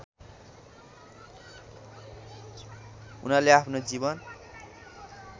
उनले आफ्नो जीवन